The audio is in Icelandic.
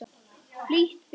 Flýtt fyrir.